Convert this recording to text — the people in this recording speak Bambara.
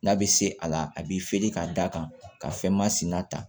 N'a bɛ se a la a b'i feere ka da kan ka fɛn masina ta